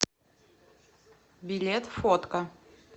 билет фотка